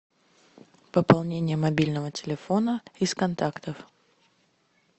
пополнение мобильного телефона из контактов